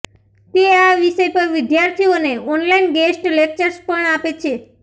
તે આ વિષય પર વિદ્યાર્થીઓને ઓનલાઈન ગેસ્ટ લેક્ચર્સ પણ આપે છે